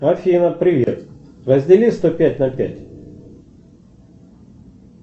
афина привет раздели сто пять на пять